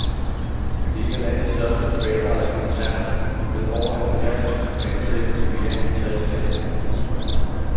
Det er en af landets største privatejede koncerner med over halvfjerds tusind ansatte i mere end tres lande. punktum